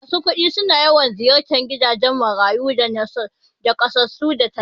Masu kudi suna yawan ziyartan gidajan marayu da nakasassu kai tallafi